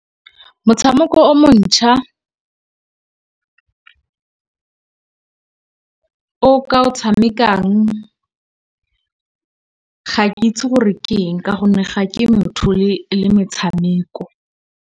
Motshameko o montšha o ka o tshamekang ga ke itse gore keng ka gonne ga ke motho le metshameko.